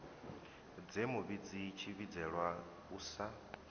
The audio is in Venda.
dze muvhidzi tshivhidzelwa u sa